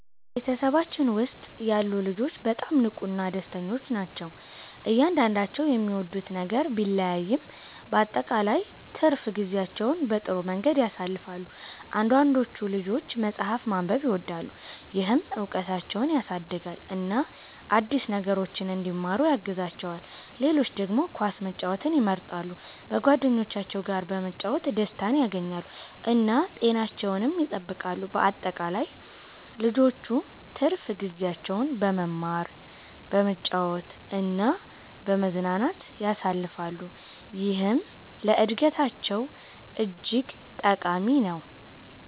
በቤተሰባችን ውስጥ ያሉ ልጆች በጣም ንቁና ደስተኞች ናቸው። እያንዳንዳቸው የሚወዱት ነገር ቢለያይም በአጠቃላይ ትርፍ ጊዜያቸውን በጥሩ መንገድ ያሳልፋሉ። አንዳንዶቹ ልጆች መጽሐፍ ማንበብን ይወዳሉ፣ ይህም እውቀታቸውን ያሳድጋል እና አዲስ ነገሮችን እንዲማሩ ያግዛቸዋል። ሌሎች ደግሞ ኳስ መጫወትን ይመርጣሉ፣ በጓደኞቻቸው ጋር በመጫወት ደስታን ያገኛሉ እና ጤናቸውንም ይጠብቃሉ። በአጠቃላይ ልጆቹ ትርፍ ጊዜያቸውን በመማር፣ በመጫወት እና በመዝናናት ያሳልፋሉ፣ ይህም ለእድገታቸው እጅግ ጠቃሚ ነው።